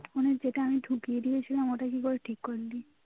যেটা আমি যেটা ঢুকিয়ে দিয়েছিলাম ওটা কি করে ঠিক করে দি